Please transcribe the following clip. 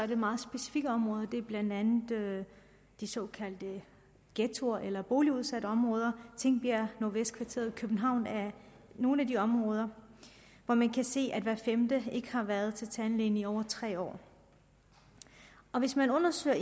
meget specifikke områder det er blandt andet de såkaldte ghettoer eller boligudsatte områder og tingbjerg og nordvestkvarteret i københavn er nogle af de områder hvor man kan se at hver femte ikke har været til tandlæge i over tre år og hvis man undersøger